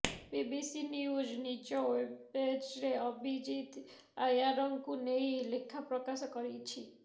BBC news ନିଜ ୱେବପେଜରେ ଆଭିଜିତ ଆୟାରଙ୍କୁ ନେଇ ଲେଖା ପ୍ରକାଶ କରିଛି